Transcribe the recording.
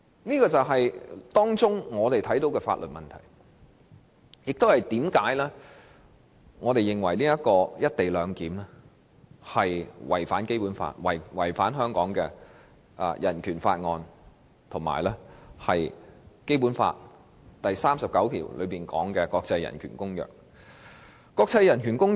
這便是我們看到《廣深港高鐵條例草案》的法律問題，亦說明我們為何認為"一地兩檢"違反《基本法》、《人權法案條例》，以及《基本法》第三十九條下訂明的《公約》。